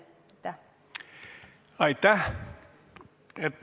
Aitäh!